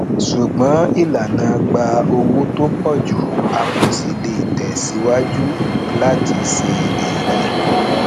ṣùgbọn ìlànà gba owó tó pò ju a kò sì lè tẹ síwájú láti ṣe èrè